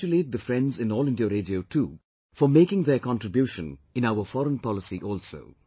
I congratulate the friends in All India Radio too for making their contribution in our foreign policy also